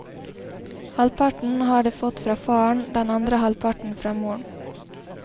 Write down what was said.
Halvparten har det fått fra faren, den andre halvparten fra moren.